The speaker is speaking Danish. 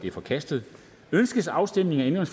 er forkastet ønskes afstemning om